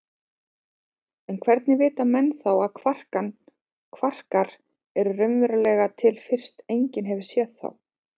En hvernig vita menn þá að kvarkar eru raunverulega til fyrst enginn hefur séð þá?